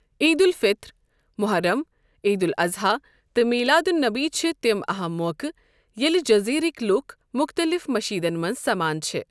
عید الفطر، مُحرم، عید الاضحیٰ تہٕ میلاد النبی چھِ تِم اہم موقع ییٚلہِ جزیٖرٕکۍ لُکھ مُختلف مشیٖدن منٛز سمان چھِ۔۔